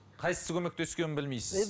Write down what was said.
қайсы көмектескенін білмейсіз